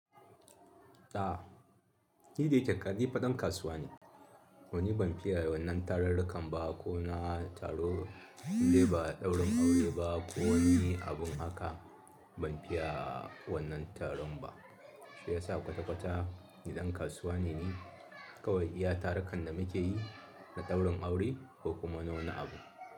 To ko da yake nifa dankasuwa ne wani ban fiya wannan tararrikan ba ko na taro dai ba ɗaurin aure ba ko wani abun haka. Ban fiya wannan taron ba. Shi yasa kwata-kwata niɗan kasuwa ne ni. Kawai iya tarukan da muke yi na ɗaurin aure ko kuma nawa na abu.